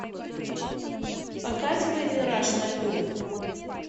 показывай мираж на льду